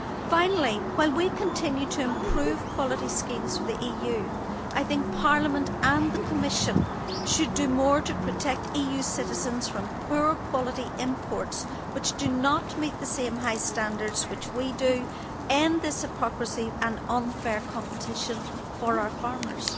Finally, while we continue to improve quality schemes in the EU, I think Parliament and the Commission should do more to protect EU citizens from poor quality imports which do not meet the same high standards, and should put an end to the hypocrisy in this regard and the unfair competition for our farmers.